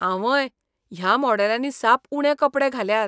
आंवंय! ह्या मॉडेलांनी साप उणे कपडे घाल्यात.